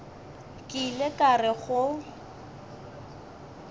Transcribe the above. ke ile ka re go